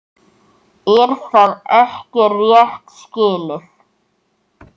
Er það ekki rétt skilið?